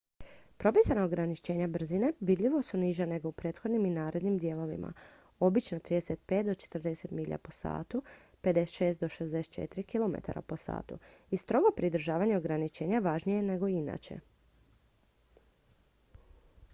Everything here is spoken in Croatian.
propisana ograničenja brzine vidljivo su niža nego u prethodnim i narednim dijelovima obično 35-40 mi/h 56-64 km/h i strogo pridržavanje ograničenja važnije je nego inače